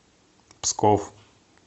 псков